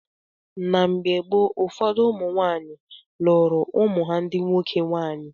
Na mgbe ochie, ụfọdụ ụmụ nwaanyị lụụrụ ụmụ ha ndị nwoke nwaanyị.